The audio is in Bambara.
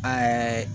Ɛɛ